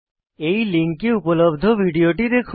এই লিঙ্কে উপলব্ধ ভিডিওটি দেখুন